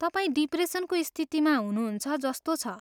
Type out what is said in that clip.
तपाईँ डिप्रेसनको स्थितिमा हुनुहुन्छ जस्तो छ।